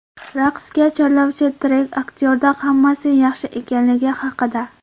Raqsga chorlovchi trek aktyorda hammasi yaxshi ekanligi haqida.